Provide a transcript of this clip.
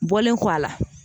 Bɔlen kɔ a la